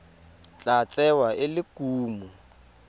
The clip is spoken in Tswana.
tla tsewa e le kumo